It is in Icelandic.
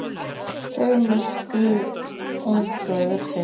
Þau misstu ung föður sinn.